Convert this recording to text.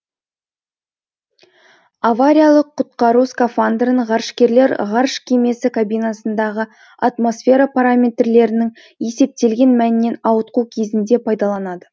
авариялық құтқару скафандрын ғарышкерлер ғарыш кемесі кабинасындағы атмосфера параметрлерінің есептелген мәннен ауытқуы кезінде пайдаланады